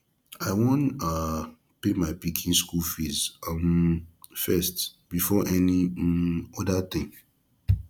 i wan um pay my pikin school fees um first before any um other thing